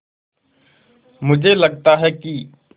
मुझे लगता है कि